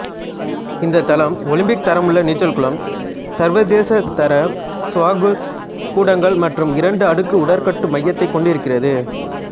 இந்தத் தளம் ஒலிம்பிக்தரமுள்ள நீ்ச்சல் குளம் சர்வதேசதர ஸ்குவாஷ் கூடங்கள் மற்றும் இரண்டு அடுக்கு உடற்கட்டு மையத்தைக் கொண்டிருக்கிறது